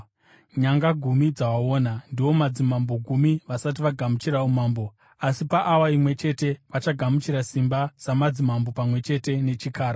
“Nyanga gumi dzawaona ndiwo madzimambo gumi vasati vagamuchira umambo, asi paawa imwe chete vachagamuchira simba samadzimambo pamwe chete nechikara.